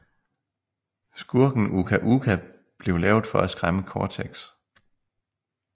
Skurken Uka Uka blev lavet for at skræmme Cortex